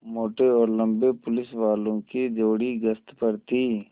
मोटे और लम्बे पुलिसवालों की जोड़ी गश्त पर थी